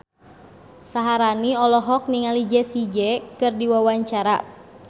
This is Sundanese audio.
Syaharani olohok ningali Jessie J keur diwawancara